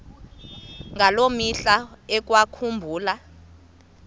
ngaloo mihla ekwakubulawa